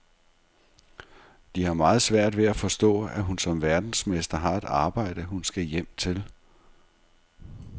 De har meget svært ved at forstå, at hun som verdensmester har et arbejde, hun skal hjem til.